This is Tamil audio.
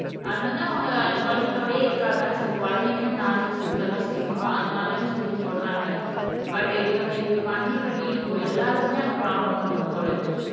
அது வந்து அவங்க அந்த குழந்தைங்களோடயே இருக்காங்க சரி குழந்தைங்களும் நைஸ்ஸஸ் இருக்கத்தான் செய்யும் அதனாலன்னு சொல்லி சொல்றாங்க பட் இவங்க இப்படி பண்ணி பண்ணி இப்ப எல்லாருக்குமே அந்த பிராப்ளம் வந்துரும் போல இருக்கு